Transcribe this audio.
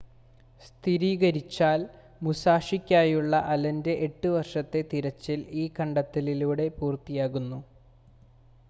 സ്ഥിരീകരിച്ചാൽ മുസാഷിക്കായുള്ള അലൻ്റെ എട്ട് വർഷത്തെ തിരച്ചിൽ ഈ കണ്ടെത്തലിലൂടെ പൂർത്തിയാകുന്നു